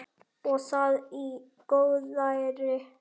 Og það í góðæri!